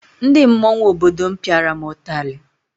Ndị mmọnwụ obodo m pịara m ụtarị